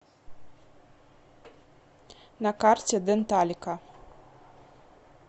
на карте денталика